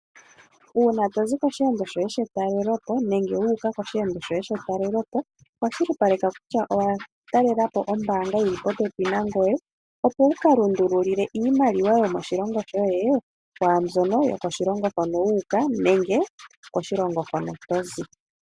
Uuna to zi koshiyendo shoye shetalelopo nenge wuuka koshiyendo shoye shetalelopo kwashilipaleka kutya owa talelapo ombaanga yili popepi nangoye, opo wu ka lundululile iimaliwa yomoshilongo shoye mwaambyono yokoshilongo hono wu uka, nenge koshilongo hono to zi.